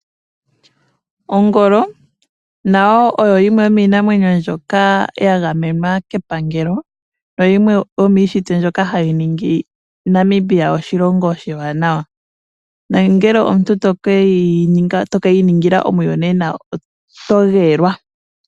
Ongolo nayo oyo yimwe yomii namwenyo mbyoka ya gamenwa kepangelo nayimwe yomiinamwenyo mbyoka hayi ningi Namibia oshilongo oshiwanawa. Nongele toke yi ningila omiyonena oto geelwa.